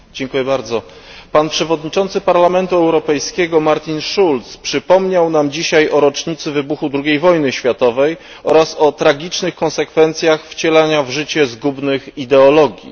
Panie Przewodniczący! Pan przewodniczący Parlamentu Europejskiego Martin Schulz przypomniał nam dzisiaj o rocznicy wybuchu II wojny światowej oraz o tragicznych konsekwencjach wcielania w życie zgubnych ideologii.